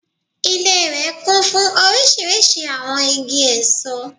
Ilé rè kún fún orísirísi àwon igi èso